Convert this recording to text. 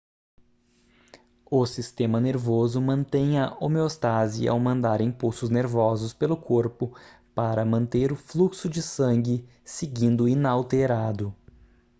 o sistema nervoso mantém a homeostase ao mandar impulsos nervosos pelo corpo para manter o fluxo de sangue seguindo inalterado